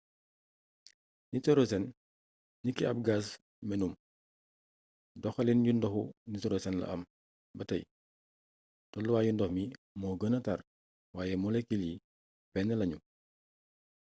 nitorosen niki ab gaz menum doxaliin yu ndoxu nitorosen am la am ba tey tooluwaayu ndox mi moo gëna tàr waaye molekil yi benn lañu